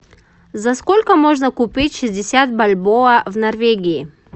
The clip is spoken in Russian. за сколько можно купить шестьдесят бальбоа в норвегии